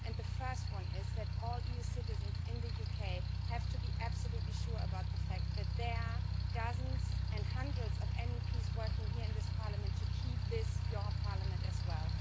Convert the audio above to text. The first one is that all EU citizens in the UK have to be absolutely sure about the fact that there are dozens and hundreds of MEPs working here in this Parliament to keep this your Parliament as well.